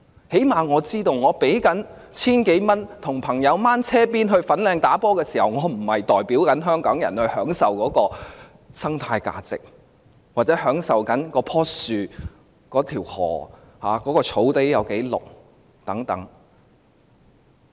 最低限度，我知道我要支付 1,000 多元，跟隨朋友前往粉嶺打球時，我並非在代表香港人享受當地的生態價值，又或是享受那棵樹、那條河流、那片綠草地等。